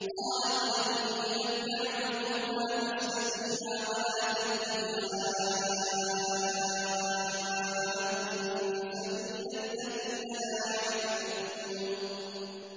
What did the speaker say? قَالَ قَدْ أُجِيبَت دَّعْوَتُكُمَا فَاسْتَقِيمَا وَلَا تَتَّبِعَانِّ سَبِيلَ الَّذِينَ لَا يَعْلَمُونَ